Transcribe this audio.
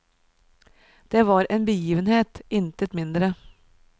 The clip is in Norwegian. Det var en begivenhet, intet mindre.